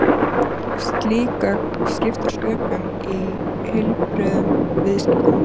Slík gögn skipta sköpum í heilbrigðum viðskiptum.